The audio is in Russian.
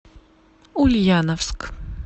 ульяновск